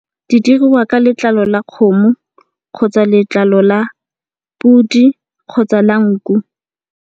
Di diriwa ka letlalo la kgomo kgotsa letlalo la podi kgotsa la nku.